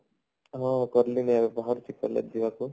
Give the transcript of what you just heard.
ହଁ କରଲି ନା ବାହାରୁଛି collage ଯିବାକୁ